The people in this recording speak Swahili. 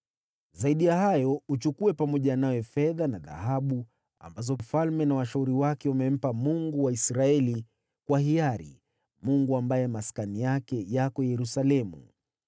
Zaidi ya hayo, uchukue pamoja nawe fedha na dhahabu ambazo mfalme na washauri wake wamempa Mungu wa Israeli kwa hiari, Mungu ambaye maskani yake yako Yerusalemu,